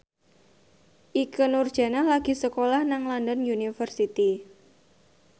Ikke Nurjanah lagi sekolah nang London University